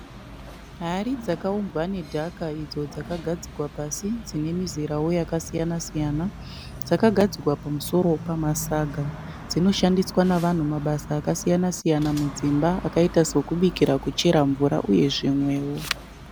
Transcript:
Hari dzakaumbwa nedhaka idzo dzakagadzikwa pasi dzine mizerao yakasiyana siyana. Dzakagadzikwa pamusoro pamasaga. Dzinóshandiswa navanhu mabasa akasiyana siyana mudzimba akaita sokubikira, kuchera mvura uye zvimweo.